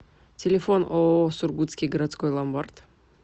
телефон ооо сургутский городской ломбард